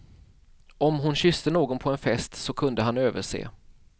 Om hon kysste någon på en fest, så kunde han överse.